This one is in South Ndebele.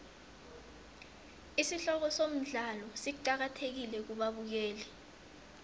isihloko somdlalo siqakathekile kubabukeli